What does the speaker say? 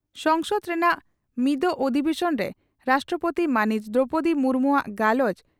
ᱥᱚᱝᱥᱚᱫ ᱨᱮᱱᱟᱜ ᱢᱤᱫᱚᱜ ᱚᱫᱷᱤᱵᱮᱥᱚᱱ ᱨᱮ ᱨᱟᱥᱴᱨᱚᱯᱳᱛᱤ ᱢᱟᱹᱱᱤᱡ ᱫᱨᱚᱣᱯᱚᱫᱤ ᱢᱩᱨᱢᱩᱣᱟᱜ ᱜᱟᱞᱚᱪ